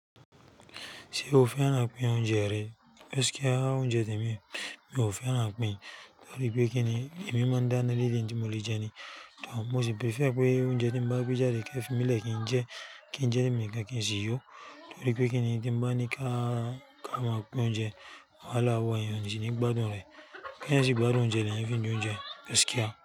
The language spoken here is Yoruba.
Ṣé o fẹ́ràn pín oúnjẹ rẹ? Pẹ́skíà óúnjẹ tèmi, mi ò fẹ́ràn pín, torí pé kíni èmi máa ń dáná líle níbi tí mo lè jẹ ni. Tàbí mo sì pẹ̀fẹ̀ pé oúnjẹ tí ń bá gbé jáde kí ẹ fi mí lẹ̀ kí n jẹ, kí n jẹ́ ní mi ìka kí n sì yó. Torí pé kíni tí ń bá ní ká máa pín oúnjẹ, wàhálà wọ̀nyí òun sì ní gbádùn rẹ̀. Kí ẹ sì gbádùn oúnjẹ lẹ́yìn tí oúnjẹ pẹ́skíà.